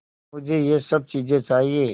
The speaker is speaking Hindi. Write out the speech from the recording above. मुझे यह सब चीज़ें चाहिएँ